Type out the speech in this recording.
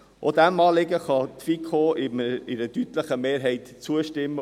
Auch diesem Anliegen kann die FiKo mit einer deutlichen Mehrheit zustimmen.